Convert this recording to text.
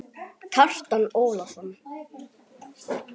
Kjartan Ólason